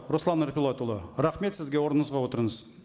руслан ерболатұлы рахмет сізге орныңызға отырыңыз